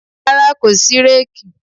Rárá, kò sí réèkì.